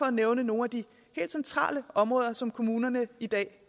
at nævne nogle af de helt centrale områder som kommunerne i dag